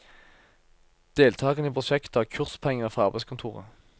Deltagerne i prosjektet har kurspenger fra arbeidskontoret.